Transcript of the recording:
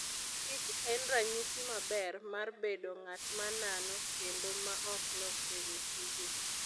kich en ranyisi maber mar bedo ng'at ma nano kendo ma ok lokre e tije.